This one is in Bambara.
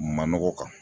Manɔgɔ kan